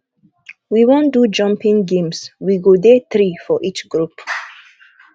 we wan do jumping games we go dey three for each group